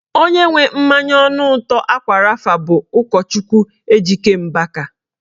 Onye nwe mmanya ọnụ ụtọ ákwà rafa bụ ụkọchukwu Ejike Mbaka